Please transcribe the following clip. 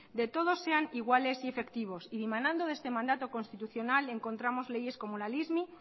de todos sean iguales y efectivos y dimanando de este mandato constitucional encontramos leyes como la lismi